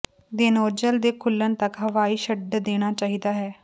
ਦੇਨੌਜ਼ਲ ਦੇ ਖੁੱਲਣ ਤੱਕ ਹਵਾਈ ਛੱਡ ਦੇਣਾ ਚਾਹੀਦਾ ਹੈ